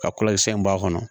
Ka kɔlɔnsɛn bɔ a kɔnɔ